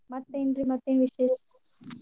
ಮತ್ತೆನ್ರೀ ಮತ್ತ್ ಏನ್ ವಿಶೇಷ?